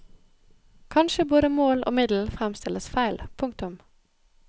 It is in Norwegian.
Kanskje både mål og middel fremstilles feil. punktum